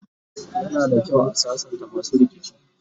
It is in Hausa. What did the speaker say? yana da kyau a sassanta masu rikici